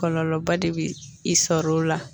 Kɔlɔlɔba de bɛ i sɔr'o la